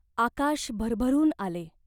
आकाश भरभरून आले.